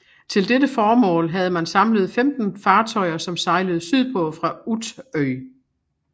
Til dette formål havde man samlet 15 fartøjer som sejlede sydpå fra Utö